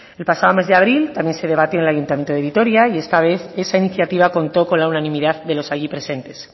el pasado mes de abril también se debatió en el ayuntamiento de vitoria y esta vez esa iniciativa contó con la unanimidad de los allí presentes